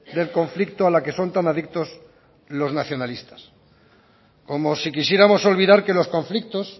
del conflicto a la que son tan adictos los nacionalistas como si quisiéramos olvidar que los conflictos